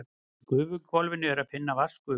Í gufuhvolfinu er að finna vatnsgufu.